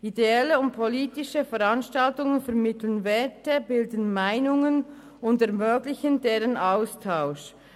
Ideelle und politische Veranstaltungen vermitteln Werte, bilden Meinungen und ermöglichen den Austausch.